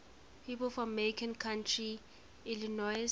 people from macon county illinois